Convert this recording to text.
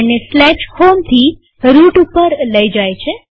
આપણને home થી route ઉપર લઇ જાય છે